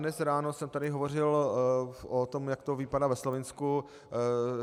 Dnes ráno jsem tady hovořil o tom, jak to vypadá ve Slovinsku.